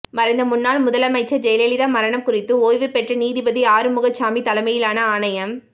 மறைந்த முன்னாள் முதலமைச்சர் ஜெயலலிதா மரணம் குறித்து ஓய்வு பெற்ற நீதிபதி ஆறுமுகசாமி தலைமையிலான ஆணையம்